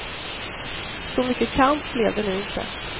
Så mycket kamp blev det nu inte.